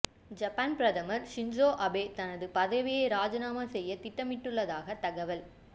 Japan பிரதமர் Shinzo Abe தனது பதவியை ராஜினாமா செய்ய திட்டமிட்டுள்ளதாக தகவல்